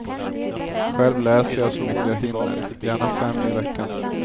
Själv läser jag så mycket jag hinner, gärna fem i veckan.